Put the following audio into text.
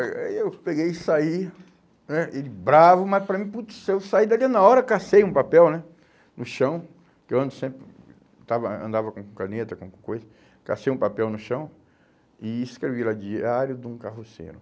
Aí aí eu peguei e saí né, e bravo, mas para mim, putz, eu saí dali na hora, cassei um papel né, no chão, porque eu ando sempre, estava, andava com caneta, com coisa, cassei um papel no chão e escrevi lá, diário de um carroceiro.